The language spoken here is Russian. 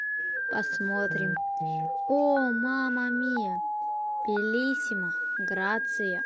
а смотрим о мама мия белиссимо грация